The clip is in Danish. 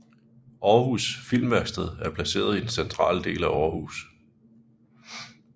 Aarhus Filmværksted er placeret i den centrale del af Aarhus